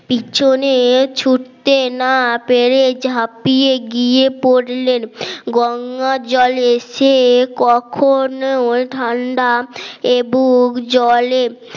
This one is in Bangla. পিছনে ছুটতে না পেরে ঝাপিয়ে গিয়ে পড়লেন গঙ্গা জলে সে কখনো ওর ঠান্ডা একবুক জলে